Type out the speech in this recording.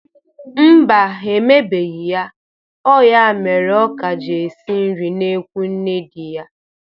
Mba, ha emebeghi ya. Ọ ya mere ọ ka ji esi nri n'ekwu nne dị ya.